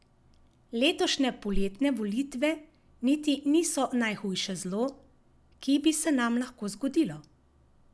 Letošnje poletne volitve niti niso najhujše zlo, ki bi se nam lahko zgodilo.